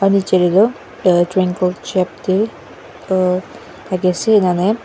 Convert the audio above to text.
aru nichae tae tu traingle shape tae thakiase enahune.